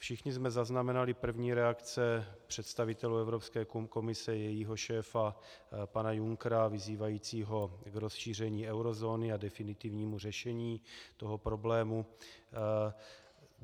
Všichni jsme zaznamenali první reakce představitelů Evropské komise, jejího šéfa pana Junckera vyzývajícího k rozšíření eurozóny a definitnímu řešení toho problému.